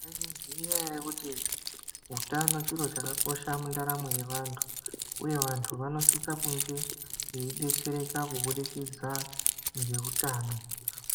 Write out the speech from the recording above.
Maizviziva here kuti hutano chiro chakakosha mundaramo yevantu uye vantu vanosisa kunge veidetsereka kuburikidza ngeutano